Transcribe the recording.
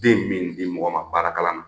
Den min di mɔgɔ ma baara kalan na.